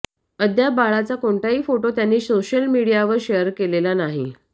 अद्याप बाळाचा कोणताही फोटो त्यांनी सोशल मीडियावर शेअर केलेला नाही